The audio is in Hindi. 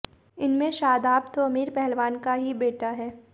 इनमें शादाब तो अमीन पहलवान का ही बेटा है